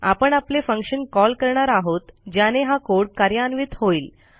आपण आपले फंक्शनcall करणार आहोत ज्याने हा कोड कार्यान्वित होईल